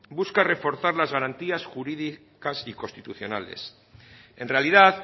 busca reforzar las garantías jurídicas y constitucionales en realidad